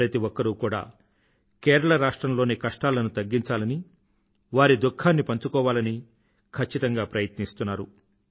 ప్రతి ఒక్కరు కూడా కేరళ రాష్ట్రంలోని కష్టాలను తగ్గించాలని వారి దుఖాన్ని పంచుకోవాలని ఖచ్చితంగా ప్రయతిస్తున్నారు